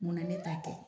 Munna ne ta kɛ